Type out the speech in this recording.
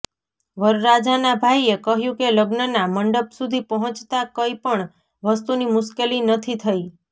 વરરાજાના ભાઇએ કહ્યું કે લગ્નના મંડપ સુધી પહોંચતા કઈ પણ વસ્તુની મુશ્કેલી નથી થઇ